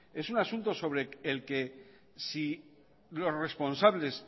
es un asunto sobre el que si los responsables